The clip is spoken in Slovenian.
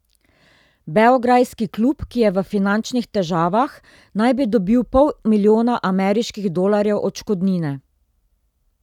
Beograjski klub, ki je v finančnih težavah, naj bi dobil pol milijona ameriških dolarjev odškodnine.